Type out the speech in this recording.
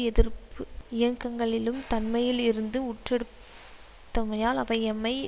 எதிர்ப்பு இயக்கங்களிளும் தன்மையில் இருந்து ஊற்றெடுத் தமையால் அவை எம்மை